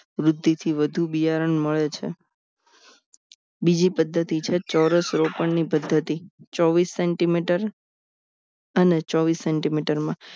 વૃદ્ધિ થી વધુ બિયારણ મળે છે બીજી પદ્ધતિ છે ચોરસ રોપણ ની પદ્ધતિ ચોવીસ centimeter અને ચોવીસ centimeter માં